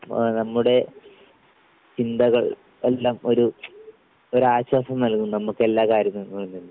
ആഹ് നമ്മുടെ ചിന്തകൾ എല്ലാം ഒരു ഒരാശ്വാസം നൽകും നമുക്കെല്ലാ കാര്യത്തിനും